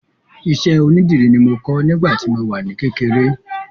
Iṣẹ́ onídìrí ni mo kọ́ nígbà tí mo wà ní kékeré